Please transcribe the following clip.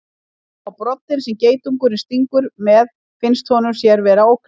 Sjá má broddinn sem geitungurinn stingur með finnist honum sér vera ógnað.